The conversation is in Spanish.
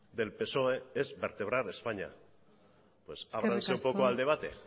del psoe es vertebrar españa pues ábranse un poco al debate